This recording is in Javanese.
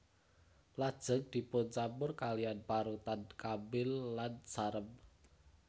Lajeng dipuncampur kaliyan parutan kambil lan sarem